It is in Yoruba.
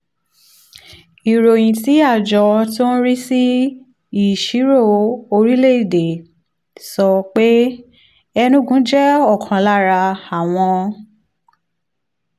ìròyìn tí àjọ tó ń rí sí ìṣirò orílẹ̀-èdè sọ pé enugu jẹ́ ọ̀kan lára àwọn